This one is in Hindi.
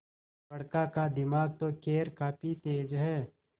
बड़का का दिमाग तो खैर काफी तेज है